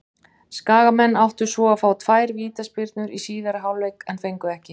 Skagamenn áttu svo að fá tvær vítaspyrnu í síðari hálfleik en fengu ekki.